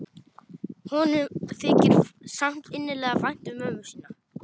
Honum þykir samt innilega vænt um mömmu sína.